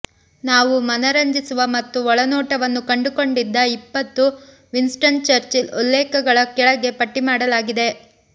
ನಾವು ಮನರಂಜಿಸುವ ಮತ್ತು ಒಳನೋಟವನ್ನು ಕಂಡುಕೊಂಡಿದ್ದ ಇಪ್ಪತ್ತು ವಿನ್ಸ್ಟನ್ ಚರ್ಚಿಲ್ ಉಲ್ಲೇಖಗಳ ಕೆಳಗೆ ಪಟ್ಟಿ ಮಾಡಲಾಗಿದೆ